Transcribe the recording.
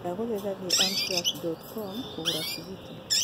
ndagũthaitha thiĩ amtrak dot com kũgũra tigiti